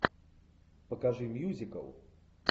покажи мьюзикл